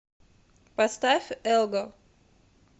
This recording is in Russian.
поставь элго